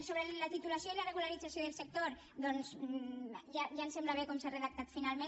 sobre la titulació i la regularització del sector doncs ja em sembla bé com s’ha redactat finalment